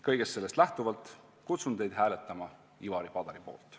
Kõigest sellest lähtuvalt kutsun teid hääletama Ivari Padari poolt.